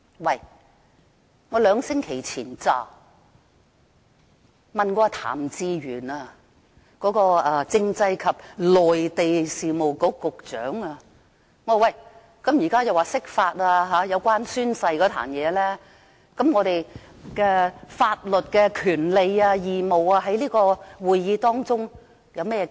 我剛在兩星期前才問過政制及內地事務局局長譚志源，我問他現在就宣誓事件進行釋法，那麼議員在會議中的法律權利和義務怎辦？